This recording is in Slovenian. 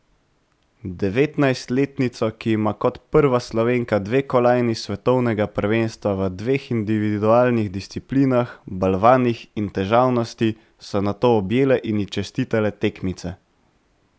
Devetnajstletnico, ki ima kot prva Slovenka dve kolajni s svetovnega prvenstva v dveh individualnih disciplinah, balvanih in težavnosti, so nato objele in ji čestitale tekmice.